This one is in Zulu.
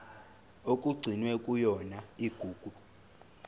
okugcinwe kuyona igugu